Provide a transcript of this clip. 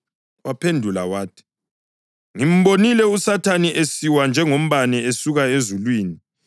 Waphendula wathi, “Ngimbonile uSathane esiwa njengombane esuka ezulwini.